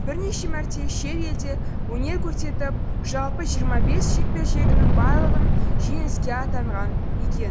бірнеше мәрте елде өнер көрсетіп жалпы жиырма бес жекпе жегінің барлығын жеңіскпен аяқтаған еді